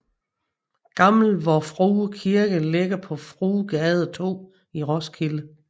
Gammel Vor Frue Kirke ligger på Fruegade 2 i Roskilde